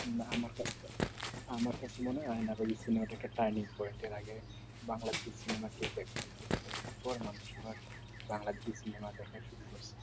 না আমার আমার কাছে মানে বাঙালি সিনেমা কেও দেখবে না এত দেখার পর মানুষ আবার বাংলাদেশী সিনেমা দেখা শুরু করছে